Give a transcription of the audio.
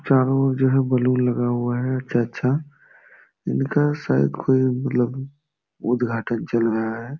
चारों ओर जो है बलून लगा हुआ है अच्छा-अच्छा। इनका शायद कोई मतलब उट्घाटन चल रहा है।